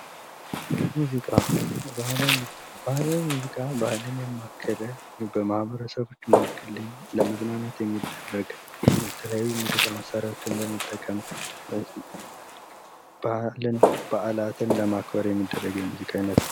ሙዚቃ ባህላዊ ሙዚቃ ባህልን ያማከለ በማህበረሰቦች መካከል ለመዝናናት የሚደረግ የተለያዩ የሙዚቃ መሳሪያዎችን በመጠቀም በዓላትን ለማክበር የሚደረግ የሙዚቃ አይነት ነው።